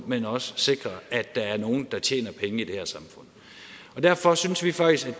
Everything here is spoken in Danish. men også sikre at der er nogle der tjener penge i det her samfund derfor synes vi faktisk